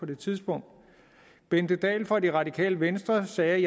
det tidspunkt bente dahl fra det radikale venstre sagde